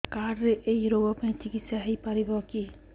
card ରେ ଏଇ ରୋଗ ପାଇଁ ଚିକିତ୍ସା ହେଇପାରିବ କି